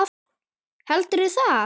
Heldurðu það?